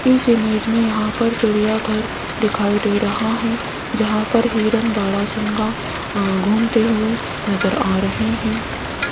इस इमेज में यहां पर चिड़ियाघर दिखाई दे रहा है जहां पर हिरण बारहसिंगा अ घूमते हुए नजर आ रहे हैं।